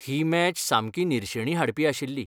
ही match सामकी निरशेणी हाडपी आशिल्ली.